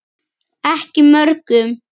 Ekki mörgum.